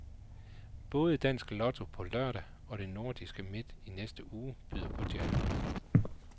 Både dansk lotto på lørdag og det nordiske midt i næste uge byder på jackpot.